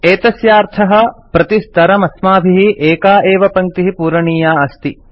एतस्यार्थः प्रतिस्तरमस्माभिः एका एव पङ्क्तिः पूरणीया अस्ति